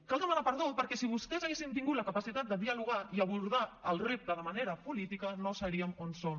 cal demanar perdó perquè si vostès haguessin tingut la capacitat de dialogar i abordar el repte de manera política no seríem on som